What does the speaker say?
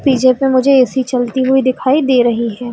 पीछे में मुझे ए.सी चलती हुई दिखाई दे रही है।